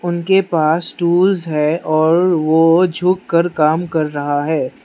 उनके पास टूल्स है और वो झुक कर काम कर रहा है।